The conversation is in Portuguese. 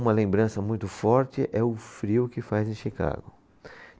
Uma lembrança muito forte é o frio que faz em Chicago.